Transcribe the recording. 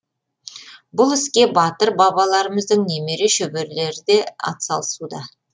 бұл іске батыр бабаларымыздың немере шөберелері де атсалысуда